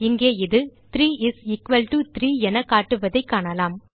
இங்கே இது 3 is equal to 3 என காட்டுவதைக் காணலாம்